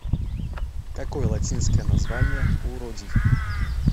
какой латинское название у родий